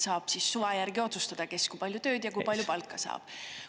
Saab suva järgi otsustada, kes kui palju tööd ja kui palju palka saab.